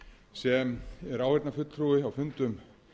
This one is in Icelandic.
sem er áheyrnarfulltrúi á fundum